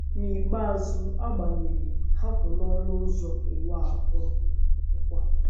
N’ikpeazụ, agbanyeghị, ha kwụ n’ọnụ ụzọ Ụwa a Kwụrụ Nkwa.